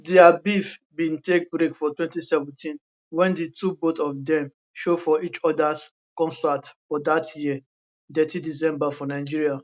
dia beef bin take break for 2017 wen di two both of dem show for each odas concert for dat year detty december for nigeria